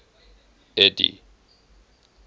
eddie